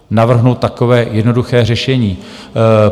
Navrhnu takové jednoduché řešení.